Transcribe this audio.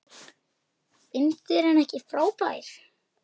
Finnst þér hann ekki frábær?